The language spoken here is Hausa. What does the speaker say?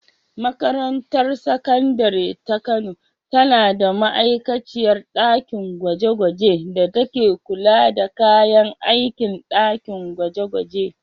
Makarantar Sakandare ta Kano tana da ma’aikaciyar ɗakin gwaje-gwaje da ke kula da kayan aikin ɗakin gwaje-gwaje.